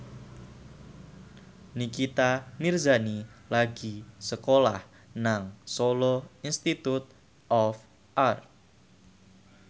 Nikita Mirzani lagi sekolah nang Solo Institute of Art